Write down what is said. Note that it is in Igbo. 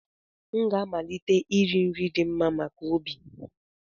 M ga-amalite iri nri ndị dị mma maka obi